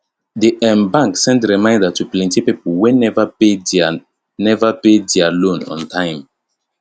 di um bank send reminder to plenty people wey never pay their never pay their loan on time